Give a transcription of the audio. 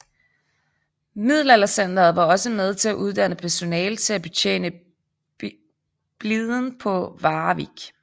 Middelaldercentret var også med til at uddanne personale til at betjene bliden på Warwick